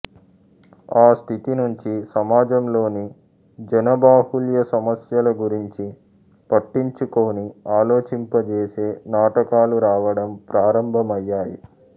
ఆ స్థితి నుంచి సమాజంలోని జన బాహుళ్య సమస్యల గురించి పట్టించుకోని ఆలోచింపజేసే నాటకాలు రావడం ప్రారంభమయ్యాయి